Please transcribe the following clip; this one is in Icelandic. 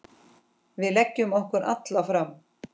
Við leggjum okkur alla fram.